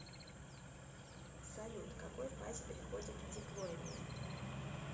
салют к какой фазе переходит диплоидная